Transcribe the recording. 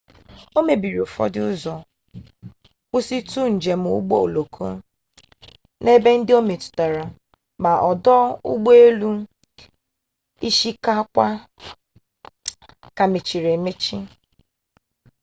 o mebiri ụfọdụ ụzọ kwụsịtụ njem ụgbọ oloko n'ebe ndị o metụtara ma ọdụ ụgbọelu ishikawa ka mechiri emechi